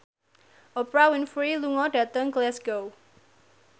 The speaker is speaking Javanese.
Oprah Winfrey lunga dhateng Glasgow